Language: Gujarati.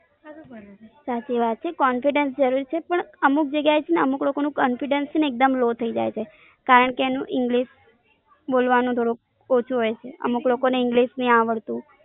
સાચી વાત છે. confidence જરૂરી છે, પણ અમુક જગ્યાએ છેને અમુક લોકો નું confidence છેને એકદમ લો થઇ જાય છે, કારણકે એનું English બોલવાનું થોડુંક ઓછું હોઈ છે, અમુક લોકો ને English ની આવડતું.